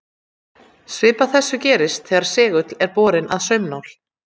Svipað þessu gerist þegar segull er borinn að saumnál.